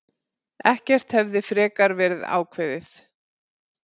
Ekkert hefði frekar verið ákveðið.